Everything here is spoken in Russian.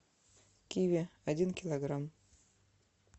киви один килограмм